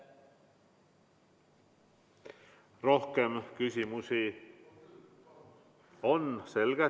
Rohkem küsimusi ...